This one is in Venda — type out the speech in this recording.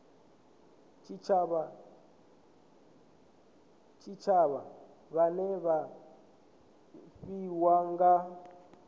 tshitshavha vhane vha pfiwa nga